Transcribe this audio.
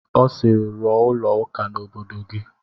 Ọ sịịrị, rụọ ụlọ ụka n'obodo gị!